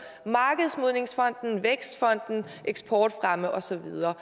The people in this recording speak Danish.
markedsmodningsfonden vækstfonden eksportfremme og så videre